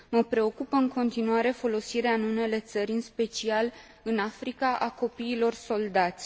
Mă preocupă în continuare folosirea în unele țări, în special în Africa, a copiilor soldați.